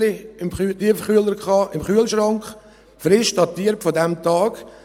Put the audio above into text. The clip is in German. Ich hatte frische Wienerli im Kühlschrank, frisch datiert von diesem Tag.